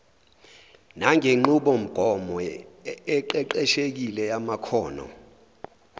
nangenqubomgomo eqeqeshekile yamakhono